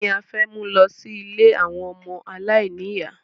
Kíni a fẹ́ mú lọ sí ilé àwọn ọmọ aláìníyà?